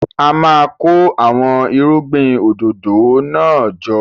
A máa kó àwọn irúgbìn òdòdó náà jọ.